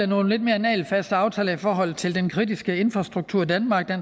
nogle lidt mere nagelfaste aftaler i forhold til den kritiske infrastruktur i danmark